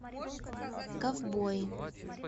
ковбои